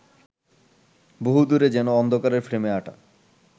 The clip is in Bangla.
বহুদূরে যেন অন্ধকারের ফ্রেমে আঁটা